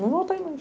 Não voltei...